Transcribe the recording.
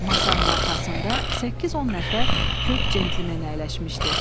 Masanın arxasında 8-10 nəfər kök cəntlmen əyləşmişdi.